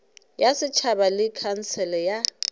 ya setšhaba le khansele ya